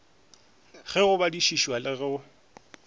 le go badišiša le go